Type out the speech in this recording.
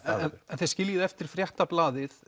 þið skiljið eftir Fréttablaðið